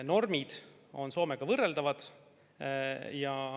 Normid on Soome omadega võrreldavad.